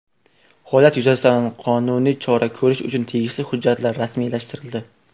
Holat yuzasidan qonuniy chora ko‘rish uchun tegishli hujjatlar rasmiylashtirildi.